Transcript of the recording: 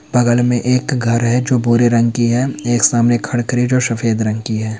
बग़ल मे एक घर है जो भूरे रंग की है एक सामने जो सफ़ेद रंग की है।